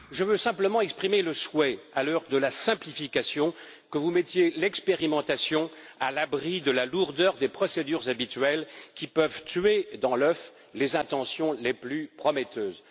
Je veux simplement exprimer le souhait, à l'heure de la simplification, que vous mettiez l'expérimentation à l'abri de la lourdeur des procédures habituelles qui peuvent tuer dans l'œuf les intentions les plus prometteuses.